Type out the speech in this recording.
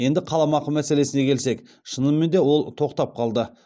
енді қаламақы мәселесіне келсек шынымен де ол тоқтап қалды